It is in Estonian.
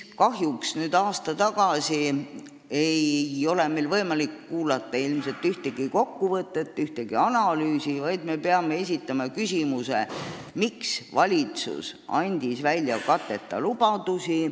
Kahjuks nüüd, aasta hiljem, ei ole meil võimalik ilmselt kuulata ühtegi kokkuvõtet ega analüüsi, vaid me peame esitama küsimuse, miks andis valitsus välja katteta lubadusi.